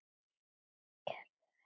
Gerður fer hvergi.